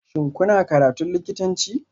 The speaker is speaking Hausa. Shin kuna karatun likitanci?